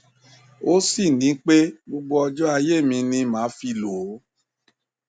ó sì ní pé gbogbo ọjọ ayé mi ni màá fi lò ó